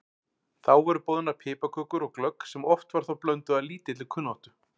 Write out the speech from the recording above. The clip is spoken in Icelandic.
Þá voru boðnar piparkökur og glögg sem oft var þó blönduð af lítilli kunnáttu.